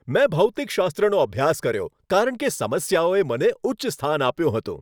મેં ભૌતિકશાસ્ત્રનો અભ્યાસ કર્યો કારણ કે સમસ્યાઓએ મને ઉચ્ચ સ્થાન આપ્યું હતું.